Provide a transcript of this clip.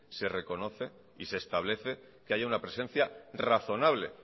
se reconoce y se establece que haya una presencia razonable